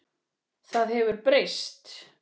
Það hefur breyst.